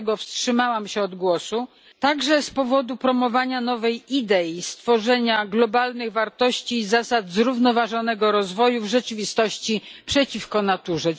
Dlatego wstrzymałam się od głosu, także z powodu promowania nowej idei stworzenia globalnych wartości i zasad zrównoważonego rozwoju w rzeczywistości przeciwko naturze.